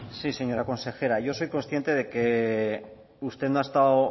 sí señora consejera yo soy consciente de que usted no ha estado